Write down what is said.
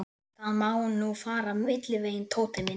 Það má nú fara milliveginn, Tóti minn.